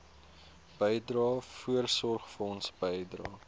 bydrae voorsorgfonds bydrae